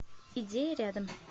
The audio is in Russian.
идея рядом